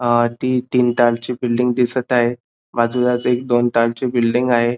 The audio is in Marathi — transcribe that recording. अ ती तीन तारची बिल्डिंग दिसत आहे बाजूलाच एक दोन तारची बिल्डिंग आहे.